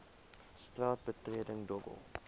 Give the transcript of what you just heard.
straat betreding dobbel